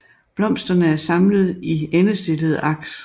Blomsterne er samlet i endestillede aks